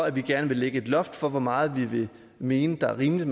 at vi gerne vil lægge et loft for hvor meget vi vil mene er rimeligt